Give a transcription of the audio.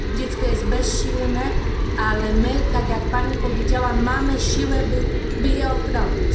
Dziecko jest bezsilne, ale my, tak jak Pani powiedziała, mamy siłę, by je ochronić.